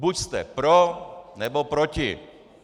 Buď jste pro, nebo proti.